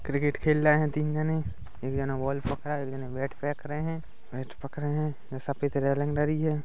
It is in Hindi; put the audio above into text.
क्रिकेट खेल रहे हैं तिन जने इ एक ज ने बॉल पकड़ा एक जन ने बेट फेख रहे हे बेट पकडे हैं ऐसा लग रही हैं।